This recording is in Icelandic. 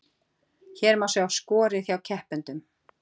Hér má sjá skorið hjá keppendum